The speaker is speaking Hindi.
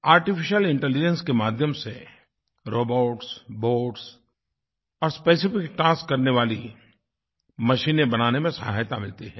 आर्टिफिशियल इंटेलिजेंस के माध्यम से रोबोट्स बॉट्स और स्पेसिफिक टास्क करने वाली मशीनें बनाने में सहायता मिलती है